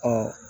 Ɔ